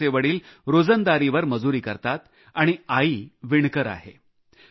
या मुलाचे वडील रोजंदारीवर मजुरी करतात आणि आई विणकर आहे